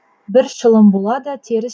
бір шылым болады теріс